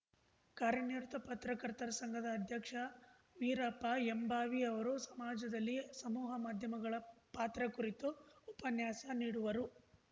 ಕಾರ್ಯನಿರತ ಪತ್ರಕರ್ತರ ಸಂಘದ ಅಧ್ಯಕ್ಷ ವೀರಪ್ಪ ಎಂಭಾವಿ ಅವರು ಸಮಾಜದಲ್ಲಿ ಸಮೂಹ ಮಾಧ್ಯಮಗಳ ಪಾತ್ರ ಕುರಿತು ಉಪನ್ಯಾಸ ನೀಡುವರು